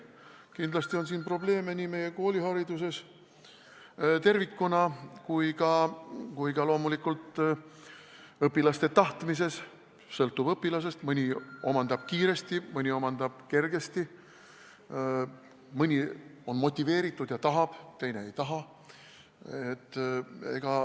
Kindlasti on sellega probleeme nii meie koolihariduses tervikuna kui ka loomulikult õpilaste tahtmises – sõltub õpilasest, mõni omandab kiiresti, mõni omandab kergesti, mõni on motiveeritud ja tahab, teine ei taha.